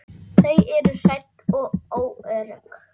Þau eru hrædd og óörugg.